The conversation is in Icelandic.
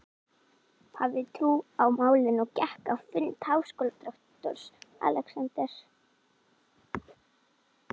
hafði trú á málinu og gekk á fund háskólarektors, Alexanders